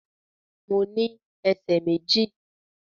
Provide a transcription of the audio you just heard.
Mo ní ẹsẹ̀ méjì